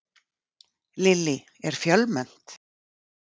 Lillý, er fjölmennt?